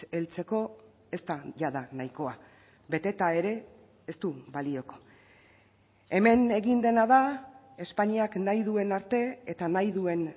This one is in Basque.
heltzeko ez da jada nahikoa beteta ere ez du balioko hemen egin dena da espainiak nahi duen arte eta nahi duen